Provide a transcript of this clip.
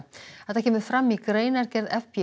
þetta kemur fram í greinargerð